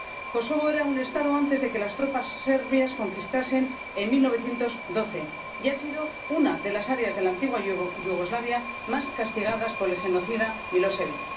Kosovo era un Estado antes de que las tropas serbias lo conquistasen en 1912 y ha sido una de las áreas de la antigua Yugoslavia más castigadas por el genocida Milosevic.